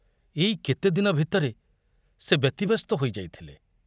ଏଇ କେତେଦିନ ଭିତରେ ସେ ବ୍ୟତିବ୍ୟସ୍ତ ହୋଇ ଯାଇଥିଲେ।